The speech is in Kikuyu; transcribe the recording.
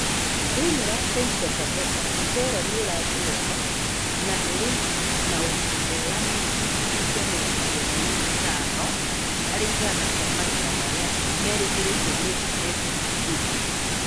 Thi͂ini͂ wa Taita Taveta, mu͂ceere ni u͂rathii͂ wega na u͂ri͂ na ugima mwega na gi͂cunji͂ ki͂a mi͂rongo kenda na i͂tano hari͂ igana ki͂a magetha mari͂a meri͂gi͂ri͂ire ni͂ meku͂hingi͂rio.